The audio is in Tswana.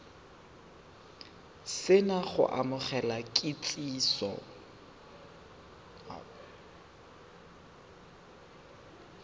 se na go amogela kitsiso